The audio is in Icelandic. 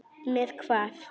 Með hvað?